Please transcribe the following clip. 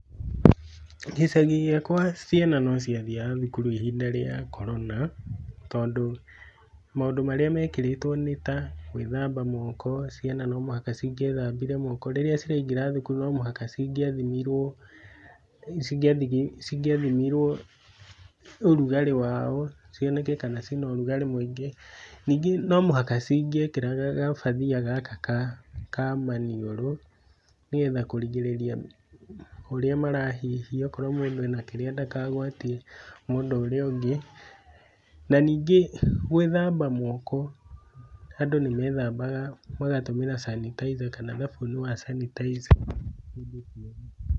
Gĩcagi gĩakwa, ciana no cia thiaga thukuru ihinda rĩa korona, tondũ maũndũ marĩa mekĩrĩtwo nĩta, gwĩthamba moko ciana no muhaka cingĩethambire moko, rĩrĩa ciraingĩra thukuru no nginya cigĩathimirwo, cingĩa cingĩathimirwo ũrugarĩ wao, cioneke kana cina ũrugarĩ mũingĩ , ningĩ no mũhaka cingĩekĩraga gabathia gaka ka kamaniũrũ, nĩgetha kũrigĩrĩria ũrĩa marahihia okorwo mũndũ ena kĩrĩa ndakagwatie mũndũ ũrĩa ũngĩ na ningĩ gwĩthamba moko, andũ nĩmethambaga magatũmĩra sanitizer kana thabuni wa sanitizer hĩndĩ ciothe.